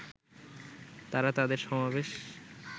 তারা তাদের সমাবেশ